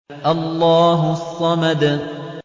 اللَّهُ الصَّمَدُ